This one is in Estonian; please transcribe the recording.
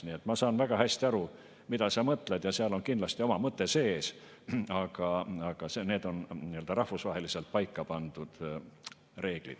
Nii et ma saan väga hästi aru, mida sa mõtled, ja seal on kindlasti oma mõte sees, aga need on rahvusvaheliselt paika pandud reeglid.